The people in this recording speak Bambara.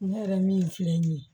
Ne yɛrɛ min filɛ nin ye